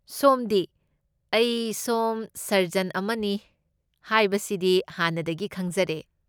ꯁꯣꯝꯗꯤ, ꯑꯩ ꯁꯣꯝ ꯁꯔꯖꯟ ꯑꯃꯅꯤ ꯍꯥꯏꯕꯁꯤꯗꯤ ꯍꯥꯟꯅꯗꯒꯤ ꯈꯪꯖꯔꯦ꯫